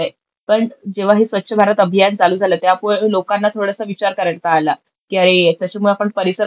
पण जेव्हा हे स्वच्छ भारत अभियान चालू झालं त्यामुळं लोकांना थोडासा विचार करता आला, की अरे, याच्यामुळे परिसर आपण कसा